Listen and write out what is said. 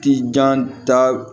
Ti jan ta